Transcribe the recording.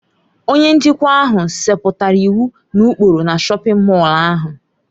Onye njikwa ahụ setịpụrụ iwu na ụkpụrụ na shọpin Mọll ahụ.